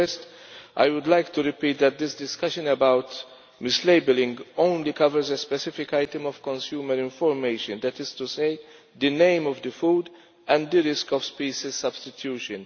First I would like to repeat that this discussion about mislabelling only covers a specific item of consumer information, that is to say the name of the food and the risk of species substitution.